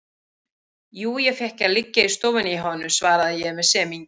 Jú, ég fékk að liggja í stofunni hjá honum, svaraði ég með semingi.